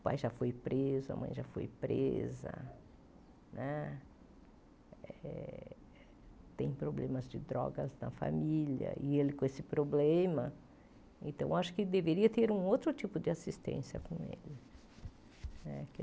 O pai já foi preso, a mãe já foi presa né, tem problemas de drogas na família, e ele com esse problema, então acho que deveria ter um outro tipo de assistência com ele né.